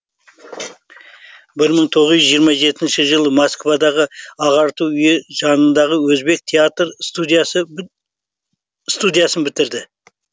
бір мың тоғыз жүз жиырма жетінші жылы москвадағы ағарту үйі жанындағы өзбек театр студиясын бітірді